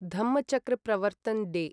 Dhammachakra Pravartan day